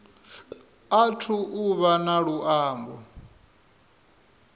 athu u vha na luambo